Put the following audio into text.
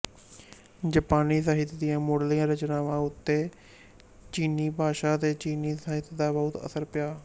ਜਾਪਾਨੀ ਸਾਹਿਤ ਦੀਆਂ ਮੁੱਢਲੀਆਂ ਰਚਨਾਵਾਂ ਉੱਤੇ ਚੀਨੀ ਭਾਸ਼ਾ ਅਤੇ ਚੀਨੀ ਸਾਹਿਤ ਦਾ ਬਹੁਤ ਅਸਰ ਪਿਆ